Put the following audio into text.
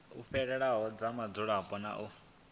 fhelelaho dza mudzulapo na u